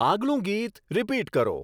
આગલું ગીત રીપીટ કરો